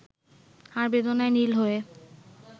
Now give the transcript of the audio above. আর বেদনায় নীল হয়ে